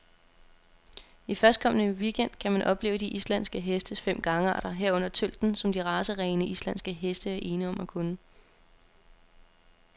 I førstkommende weekend gang kan man opleve de islandske hestes fem gangarter, herunder tølten, som de racerene, islandske heste er ene om at kunne.